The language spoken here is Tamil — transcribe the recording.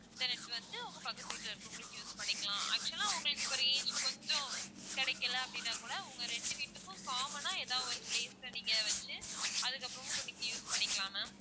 internet வந்து உங்க பக்கத்து வீட்டுல இருக்குறவங்களுக்கும் use பண்ணிக்கலாம் actual ஆ உங்களுக்கு இப்போ வந்து reach கொஞ்சம் கிடைக்கல அப்படின்னா கூட உங்க ரெண்டு வீட்டுக்கும் common ஆ ஏதாவது ஒரு place ல நீங்க வச்சு அதுக்கு அப்பறமும் நீங்க use பண்ணிக்கலாம் ma'am